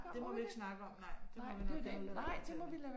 Det må vi ikke snakke om nej det må vi nok hellere lade være at fortælle